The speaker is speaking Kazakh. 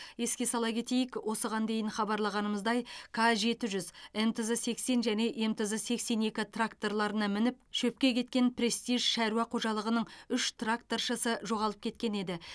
еске сала кетейік осыған дейін хабарлағанымыздай к жеті жүз мтз сексен және мтз сексен екі тракторларына мініп шөпке кеткен престиж шаруа қожалығының үш тракторшысы жоғалып кеткен еді